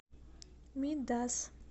мидас